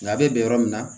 Labɛn yɔrɔ min na